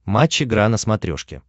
матч игра на смотрешке